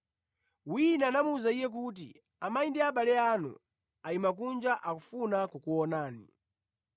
Wina anamuwuza Iye kuti, “Amayi ndi abale anu ayima kunja, akufuna kukuonani.”